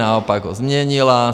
Naopak ho změnila.